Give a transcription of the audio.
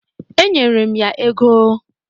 Enyere m ya ego.